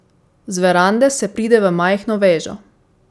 Z verande se pride v majhno vežo.